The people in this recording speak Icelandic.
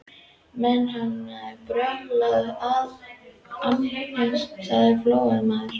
Menn hafa nú brallað annað eins, sagði Flóamaður.